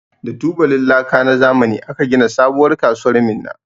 Da tubalin laka na zamani aka gina sabuwar kasuwar Minna.